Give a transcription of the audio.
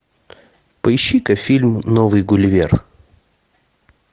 поищи ка фильм новый гулливер